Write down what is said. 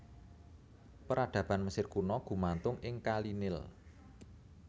Peradaban Mesir Kuna gumantung ing kali Nil